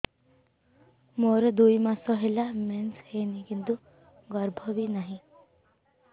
ମୋର ଦୁଇ ମାସ ହେଲା ମେନ୍ସ ହେଇନି କିନ୍ତୁ ଗର୍ଭ ବି ନାହିଁ